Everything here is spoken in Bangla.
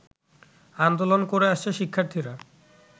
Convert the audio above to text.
আন্দোলন করে আসছে শিক্ষার্থীরা